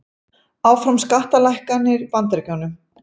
Áfram skattalækkanir í Bandaríkjunum